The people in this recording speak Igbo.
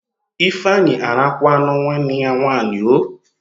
Ifeanyi arakwaanụ nwanne ya nwaanyị oo!